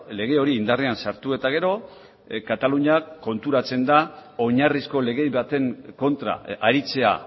lege hori indarrean sartu eta gero kataluniak konturatzen da oinarrizko lege baten kontra aritzea